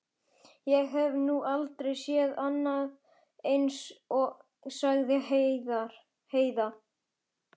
Ég hef nú aldrei séð annað eins, sagði Heiða.